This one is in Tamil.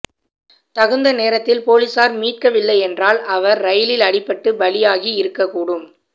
தகுந்த நேரத்தில் பொலிஸார் மீட்கவில்லை என்றால் அவர் ரயிலில் அடிபட்டு பலியாகி இருக்கக்கூடும்